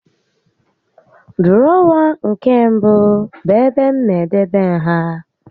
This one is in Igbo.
Dụrọwa nke mbụ bụ ebe m na-edebe nha